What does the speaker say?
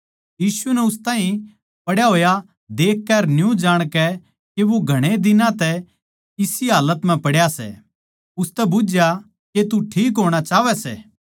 यीशु नै उस ताहीं पड्या होया देखकै अर न्यू जाणकै के वो घणे दिनां तै इसी हाल्लत म्ह पड्या सै उसतै बुझ्झया के तू ठीक होणा चाहवै सै